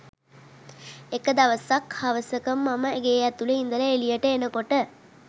එක දවසක්‌ හවසක මම ගේ ඇතුළෙ ඉඳල එළියට එනකොට